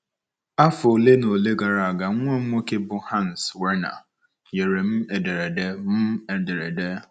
Afọ ole na ole gara aga, nwa m nwoke, bụ́ Hans Werner, nyere m ederede m ederede.